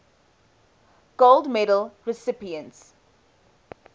gold medal recipients